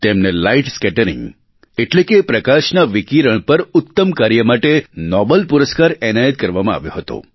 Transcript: તેમને light scattering એટલે કે પ્રકાશનાં વિકીરણ પર ઉત્તમ કાર્ય માટે નોબલ પુરસ્કાર એનાયત કરવામાં આવ્યો હતો